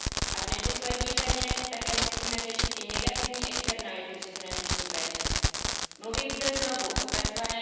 A v neposlední řadě také musíme řešit i negativní externality přeshraniční péče. Mluvím zde znovu o tzv.